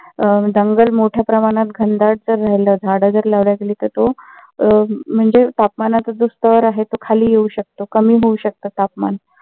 अं जंगल मोठ्या प्रमाणात घनदाट राहिलं. झाडं जर लावण्यात आली तर तो म्हणजे तापमानच जे स्तर आहे तो खाली येवू शकतो कमी होऊ शकत तापमान